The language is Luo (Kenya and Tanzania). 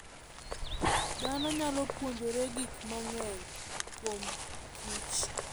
Dhano nyalo puonjore gik mang'eny kuomkich.